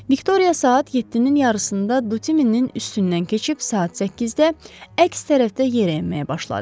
Viktoriya saat 7-nin yarısında Dutinin üstündən keçib, saat 8-də əks tərəfdə yerə enməyə başladı.